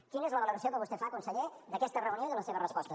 quina és la valoració que vostè fa conseller d’aquesta reunió i de la seva resposta